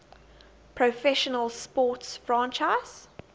professional sports franchise